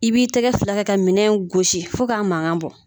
I b'i tɛgɛ fula kɛ ka minɛn gosi fo k'a mangan bɔ